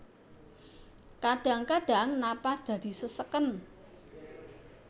Kadhang kadhang napas dadi seseken